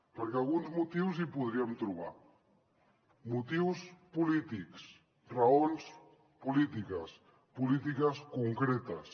perquè alguns motius hi podríem trobar motius polítics raons polítiques polítiques concretes